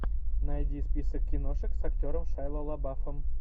найди список киношек с актером шайа лабафом